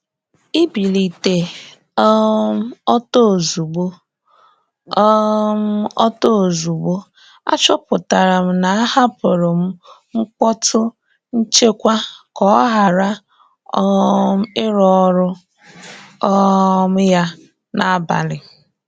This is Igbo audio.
Íbílité um ọ́tọ́ ózugbó, um ọ́tọ́ ózugbó, àchọ́pụ́tará m ná àhápụ́rụ́ m mkpọ́tú nchékwà ká ọ́ ghárá um írụ́ ọ́rụ́ um yá n’ábalì.